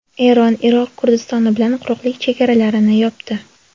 Eron Iroq Kurdistoni bilan quruqlik chegaralarini yopdi.